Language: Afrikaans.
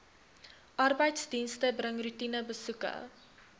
arbeidsdienste bring roetinebesoeke